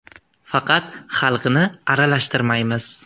Faqat xalqni aralashtirmaymiz.